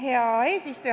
Hea eesistuja!